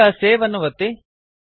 ಈಗ ಸೇವ್ ಅನ್ನು ಒತ್ತಿ